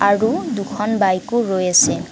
আৰু দুখন বাইকো ৰৈ আছে।